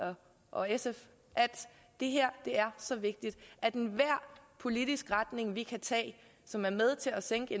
og sf at det her er så vigtigt at enhver politisk retning vi kan tage som er med til at sænke